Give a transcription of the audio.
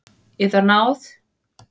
Yðar náð!